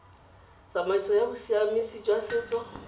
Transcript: tsamaiso ya bosiamisi jwa setso